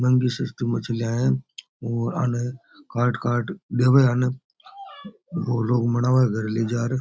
महंगी सस्ती मछलियां है और आने काट काट देबे है आने वो लोग बनावे घर ले जार।